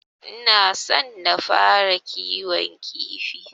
Ina so na fara kiwon kifi.